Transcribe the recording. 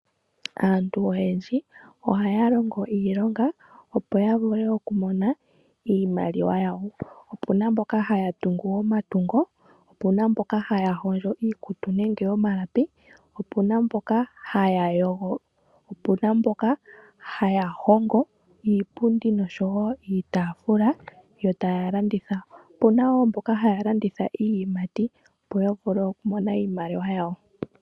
Aantu oyendji ohaya longo iilonga opo ya vule okumona iimaliwa yawo. Opu na mboka haya tungu omatungo, opu na mboka ha ya hondjo iikutu nenge omalapi, opu na mboka ha ya yogo , opu na mboka ha ya hongo iipundi osho woo iitaafula yo taya landitha. Opu na wo mboka ha ya landitha iiyimati opo ya vule okumona iimaliwa yawo.